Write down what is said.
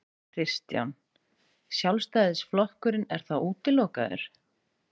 Kristján: Sjálfstæðisflokkurinn er þá útilokaður?